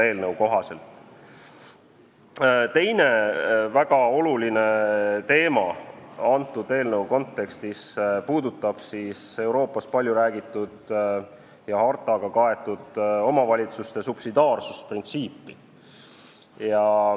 Teine väga oluline teema selle eelnõu kontekstis puudutab Euroopas palju räägitud ja hartaga kaetud omavalitsuste subsidiaarsusprintsiipi.